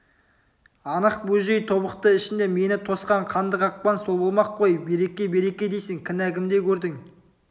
анық бөжей тобықты ішінде мені тосқан қанды қақпан сол болмақ қой береке-береке дейсің кінә кімде көрдің